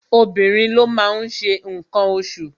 Obìnrin ló máa ń ṣe ǹkan oṣù